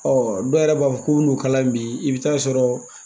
dɔw yɛrɛ b'a fɔ ko b'u n'u kalan bi i bɛ taa sɔrɔ.